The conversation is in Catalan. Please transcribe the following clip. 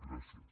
gràcies